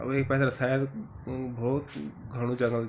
अर वेक पेथर शायद अ भौत घणु जंगल च ।